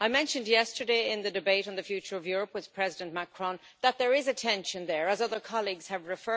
I mentioned yesterday, in the debate on the future of Europe with President Macron, that there is a tension there, as other colleagues have said.